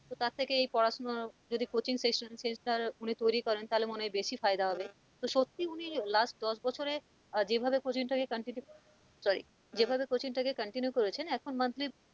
তার থেকে এই পড়াশোনা যদি coaching sessioncentre উনি তৈরি করেন তাহলে মনে হয় বেশি ফায়দা হবে তো সত্যি উনি last দশ বছরে আহ যেভাবে coaching টা কে continue sorry যেভাবে coaching টা কে continue করেছেন এখন monthly